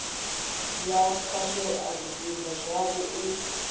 ya khwashea zwipida zwavho u